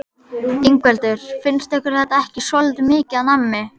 Ingveldur: Finnst ykkur þetta ekki svolítið mikið af nammi?